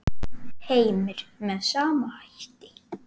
Heimir: Með sama hætti?